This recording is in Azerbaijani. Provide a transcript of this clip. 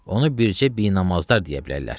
Onu bircə binamazlar deyə bilərlər.